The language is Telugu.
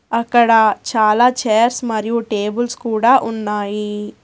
అక్కడ చాలా చైర్స్ మరియు టేబుల్స్ కూడా ఉన్నాయి.